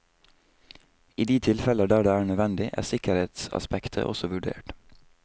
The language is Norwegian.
I de tilfeller der det er nødvendig, er sikkerhetsaspektet også vurdert.